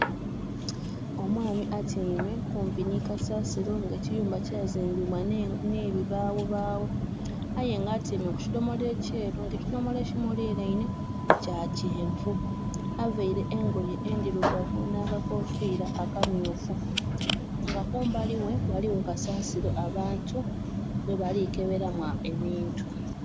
Omwami atyeime kumpi nhi kasasiro nga ekiyumba kyazimbibwa nhe bibawo bawo aye nga atyeime ku kidomola ekyeru, nga ekidhomola eki mulineinhe kya kyenvu aveire engoye endhirugavu nha ka kofira akamyufu, nga kumbali ghe ghaligho kasasiru abantu mwe balikeberamu ebintu